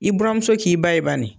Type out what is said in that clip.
I buramuso k'i ba ye banni.